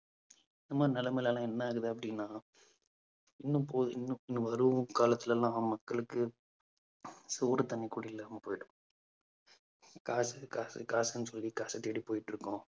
இந்த மாதிரி நிலைமை எல்லாம் என்ன ஆகுது அப்பிடின்னா இன்னும் போதும் இன்னும் இன்னும் வரும் காலத்திலெல்லாம் மக்களுக்கு சோறு தண்ணி கூட இல்லாம போயிடும். காசு காசு காசுன்னு சொல்லி காச தேடி போயிட்டு இருக்கோம்.